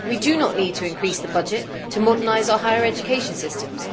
We do not need to increase the budget to modernise our higher education systems.